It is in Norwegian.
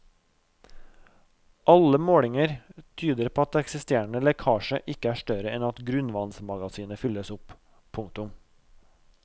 Alle målinger tyder på at eksisterende lekkasje ikke er større enn at grunnvannsmagasinet fylles opp. punktum